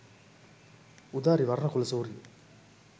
udari warnakulasuriya